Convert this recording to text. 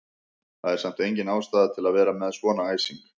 Það er samt engin ástæða til að vera með svona æsing!